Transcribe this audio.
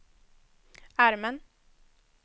armen